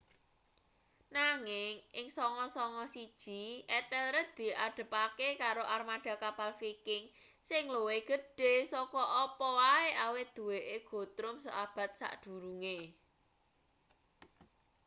nanging ing 991 ethelred diadepake karo armada kapal viking sing luwih gedhe saka apa wae awit duweke guthrum seabad sakdurunge